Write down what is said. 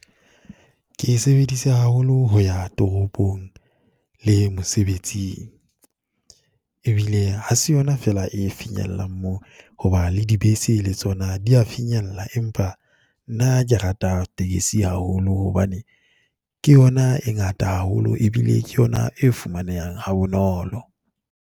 Ke e sebedise haholo ho ya toropong le mosebetsing, e bile ha se yona fela e finyellang moo, ho ba le di bese le tsona di ya finyella. Empa nna ke rata tekesi haholo hobane ke yona e ngata haholo e bile ke yona e fumanehang ha bonolo.